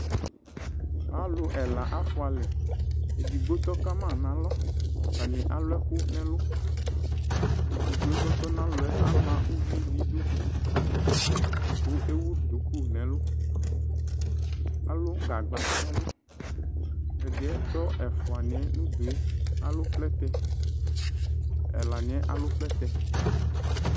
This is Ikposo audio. Alʋ ɛla afua lɛ Ɛdigbo tɔ kama nalɔ, atani alʋ ɛkʋ n'ɛlʋ Ɛdigbo e kʋ ɔtɔ n'alɔ yɛ ama ʋvi n'idu kʋ ewʋ duku n'ɛlʋ Alʋ gagba n'ɛlʋ Ɛdiɛ tɔ ɛfua niɛ nʋ du yɛ alʋ plɛtɛ, ɛla niɛ alʋ plɛtɛ